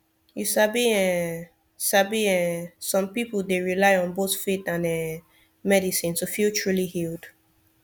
you sabi um sabi um som pipul dey rely on both faith and um medicine to feel truly healed